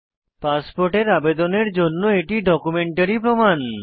পাসপোর্টের আবেদনের জন্য এটি ডকুমেন্টারী প্রমাণ